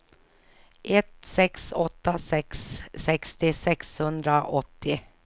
ett sex åtta sex sextio sexhundraåttio